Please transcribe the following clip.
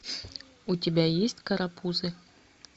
у тебя есть карапузы